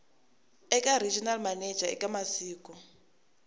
eka regional manager eka masiku